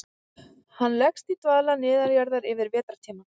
Hann leggst í dvala neðanjarðar yfir vetrartímann.